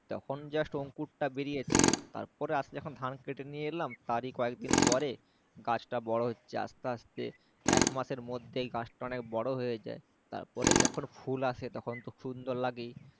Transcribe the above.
তখন Just অংকুর টা বেরিয়েছে তারপরে আস্তে যখন ধান কেটে নিয়ে এলাম তারি কয়েকদিন পরে গাছটা বড়ো হচ্ছে আস্তে আস্তে একমাসের মধ্যেই গাছটা অনেক বড়ো হয়ে যায় তারপরে যখন ফুল আসে তখন তো সুন্দর লাগেই